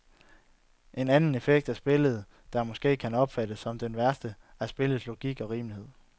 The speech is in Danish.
En anden effekt af spillet, der måske kan opfattes som den værste, er spillets logik og rimelighed.